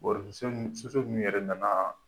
yɛrɛ na na.